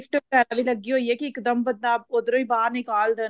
ਵਗੈਰਾ ਵੀ ਲੱਗੀ ਹੋਈ ਏ ਕਿ ਇੱਕਦਮ ਬੰਦਾ ਉੱਧਰੋਂ ਹੀ ਬਾਹਰ ਨਿਕਾਲ ਦੇਣ